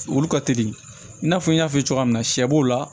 Olu ka teli i n'a fɔ n y'a fɔ cogoya min na sɛ b'o la